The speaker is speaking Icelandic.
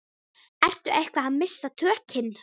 Ertu eitthvað að missa tökin?